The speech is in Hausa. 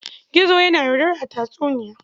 Gizo yana yaudara a tatsuniya.